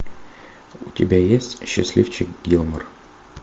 у тебя есть счастливчик гилмор